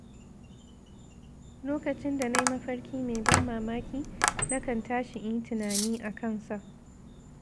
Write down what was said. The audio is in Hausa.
Lokacin da na yi mafarki mai ban mamaki, na kan tashi in yi tunani a kansa.